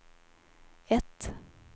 ett